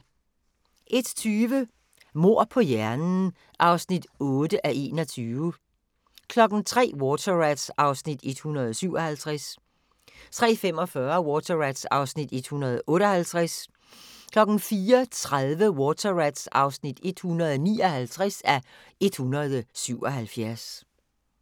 01:20: Mord på hjernen (8:21) 03:00: Water Rats (157:177) 03:45: Water Rats (158:177) 04:30: Water Rats (159:177)